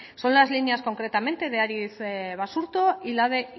son las líneas concretamente de aritz basurto y la de